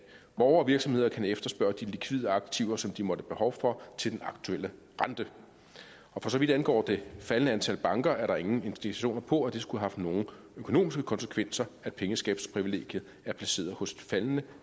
borgere og virksomheder kan efterspørge de likvide aktiver som de måtte have behov for til den aktuelle rente og for så vidt angår det faldende antal banker er der ingen indikationer på at det skulle have haft nogen økonomiske konsekvenser at pengeskabelsesprivilegiet er placeret hos et faldende